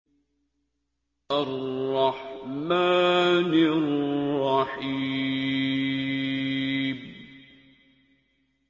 الرَّحْمَٰنِ الرَّحِيمِ